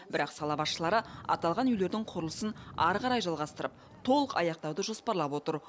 бірақ сала басшылары аталған үйлердің құрылысын ары қарай жалғастырып толық аяқтауды жоспарлап отыр